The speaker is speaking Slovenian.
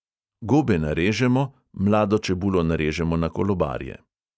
Gobe narežemo, mlado čebulo narežemo na kolobarje.